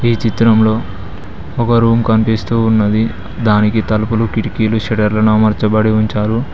ఈ చిత్రంలో ఒక రూమ్ కనిపిస్తూ ఉన్నది దానికి తలుపులు కిటికీలు శటర్లను అమార్చాబడి ఉంచారు.